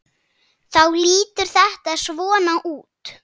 Þá lítur þetta svona út